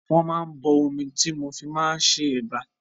Wọ́n máa bọ omi tí mo fi máa ṣe ẹ̀bà.